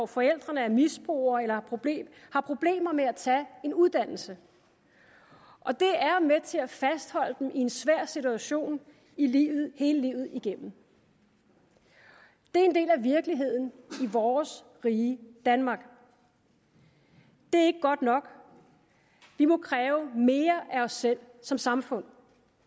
forældrene er misbrugere har problemer med at tage en uddannelse og det er med til at fastholde dem i en svær situation hele livet igennem det er en del af virkeligheden i vores frie danmark det er ikke godt nok vi må kræve mere af os selv som samfund